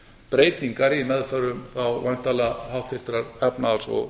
breytingar í meðförum væntanlega háttvirtrar efnahags og